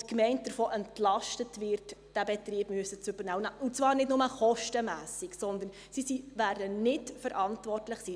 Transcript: die Gemeinde davon entlastet, diesen Betrieb übernehmen zu müssen, und zwar nicht bloss kostenmässig, sondern sie wird nicht verantwortlich sein.